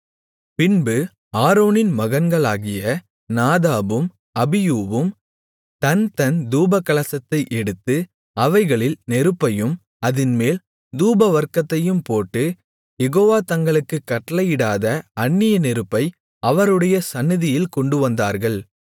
பின்பு ஆரோனின் மகன்களாகிய நாதாபும் அபியூவும் தன்தன் தூபகலசத்தை எடுத்து அவைகளில் நெருப்பையும் அதின்மேல் தூபவர்க்கத்தையும் போட்டு யெகோவா தங்களுக்குக் கட்டளையிடாத அந்நிய நெருப்பை அவருடைய சந்நிதியில் கொண்டுவந்தார்கள்